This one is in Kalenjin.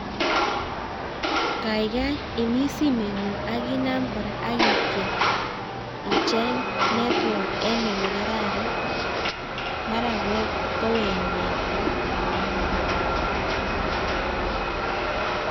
Kaikai imis simengung ak inaam kora ak itiem icheng network en olekararan. Mara kowek network